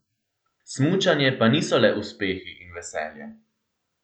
Smučanje pa niso le uspehi in veselje.